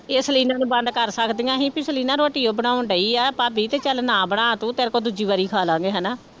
ਇਹ ਸਲੀਨਾ ਨੂੰ ਬੰਦ ਕਰ ਸਕਦੀਆਂ ਸੀ ਵੀ ਸਲੀਨਾ ਰੋਟੀ ਉਹ ਬਣਾਉਣ ਡਈ ਆ ਭਾਬੀ ਤੇ ਚੱਲ ਨਾ ਬਣਾ ਤੂੰ ਤੇਰੇ ਕੋਲ ਦੂਜੀ ਵਾਰੀ ਖਾ ਲਵਾਂਗੇ ਹਨਾ।